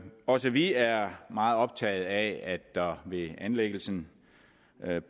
også vi er meget optaget af at der ved anlæggelsen